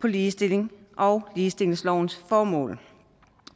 på ligestilling og ligestillingslovens formål